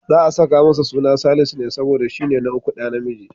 Za'a saka masa suna Salisu ne, saboda shi ne ɗa na uku namiji.